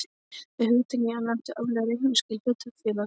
Með hugtakinu er átt við árleg reikningsskil hlutafélags.